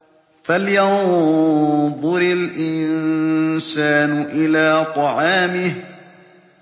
فَلْيَنظُرِ الْإِنسَانُ إِلَىٰ طَعَامِهِ